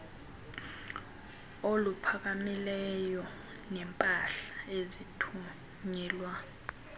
oluphakamileyo neempahla ezithunyelwa